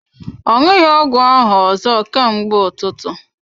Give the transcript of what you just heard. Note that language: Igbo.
Ọ ṅụghi ọgwụ ahụ ọzọ ka mgbe ụtụtụ.